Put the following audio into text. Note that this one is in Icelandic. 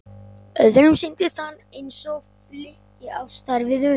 Öðrum sýndist hann eins og flykki á stærð við hund.